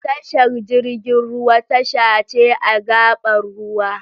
Tashar jirgin ruwa tasha ce a gaɓar ruwa